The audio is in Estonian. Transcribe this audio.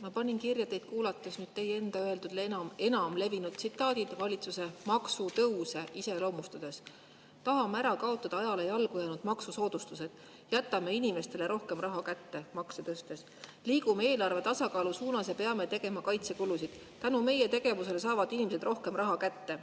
Ma panin teid kuulates kirja teie enda öeldud enam levinud tsitaadid valitsuse maksutõusude kohta: tahame ära kaotada ajale jalgu jäänud maksusoodustused, makse tõstes jätame inimestele rohkem raha kätte, liigume eelarvetasakaalu suunas, peame tegema kaitsekulutusi, tänu meie tegevusele saavad inimesed rohkem raha kätte.